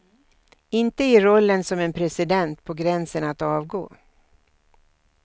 Inte i rollen som en president på gränsen att avgå.